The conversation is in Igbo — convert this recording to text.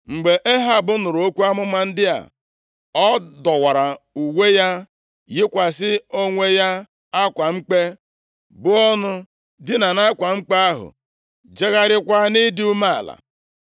Mgbe Ehab nụrụ okwu amụma ndị a, ọ dọwara uwe ya, yikwasị onwe ya akwa mkpe, buo ọnụ, dinaa nʼakwa mkpe ahụ, jegharịakwa nʼịdị umeala.